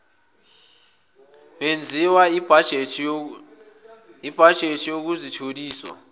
wenziwa kubhajethi yokutholiswa